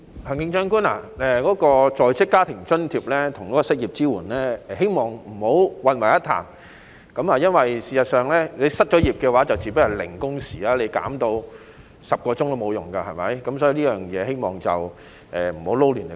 行政長官，希望你不要把在職家庭津貼和失業支援混為一談，因為事實上，失業後自然是零工時，即使把工時規定減到10小時也沒有用，對不對？